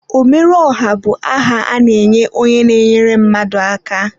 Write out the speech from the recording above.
Ọmerụọha bụ aha a na-enye onye na-enyere ndị mmadụ aka.